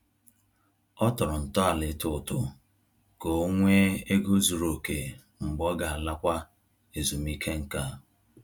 Ọ tọrọ ntọala ịtụ ụtụ ka ọ nwee ego zuru oke mgbe ọ ga-alakwa ezumike nká